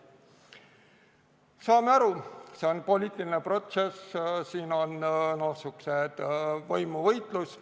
Saame aru – see on poliitiline protsess, siin on selline võimuvõitlus.